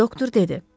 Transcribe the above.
Doktor dedi.